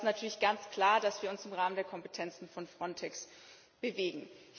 Aber es ist natürlich ganz klar, dass wir uns im Rahmen der Kompetenzen von Frontex bewegen.